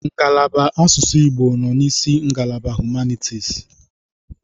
Ngalaba asụsụ Igbo nọ n'isi ngalaba humanitis.